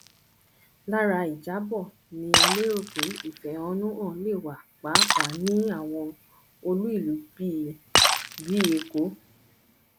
lára ìjábọ ni a lérò pé ìfẹhónúhàn le wa pàápàá ní àwọn olú ìlú bí bí èkó